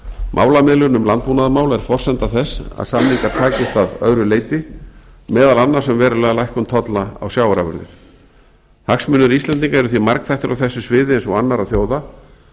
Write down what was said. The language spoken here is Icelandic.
málamiðlun um landbúnaðarmál er forsenda þess að samningar takist að öðru leyti meðal annars um verulega lækkun tolla á sjávarafurðir hagsmunir íslendinga eru því margþættir á þessu sviði eins og annarra þjóða